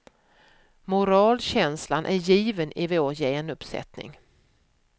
Moralkänslan är given i vår genuppsättning.